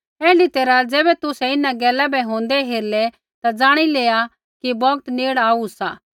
ऐण्ढी तैरहा ज़ैबै तुसै इन्हां गैला बै होंदै हेरलै ता जाणी लेआ कि बौगत नेड़ आऊ सा